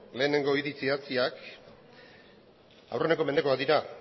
lehenengo hitz idatziak aurreneko mendekoak dira